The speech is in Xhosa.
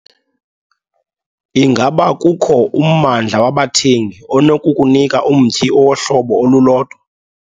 Ingaba kukho ummandla wabathengi onokukunika umtyhi owohlobo olulodwa?